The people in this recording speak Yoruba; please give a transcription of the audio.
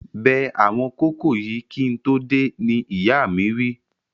Bẹ àwọn kókò yìí kí n tó dé, ni ìyáa mi wí